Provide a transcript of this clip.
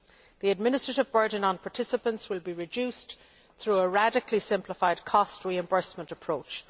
The administrative burden on participants will be reduced through a radically simplified cost reimbursement approach.